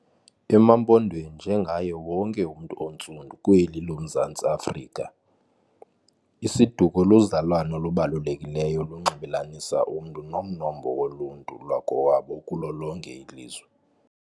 EmaMpondweni, njengaye wonke umntu ontsundu kweli loMzantsi Africa isiduko luzalwano olubalulekileyo olunxibelanisa umntu nomnombo woluntu lwakowabo okulo lonke ilizwe.